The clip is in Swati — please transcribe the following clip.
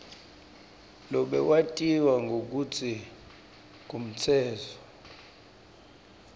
lobewatiwa ngekutsi ngumtsetfo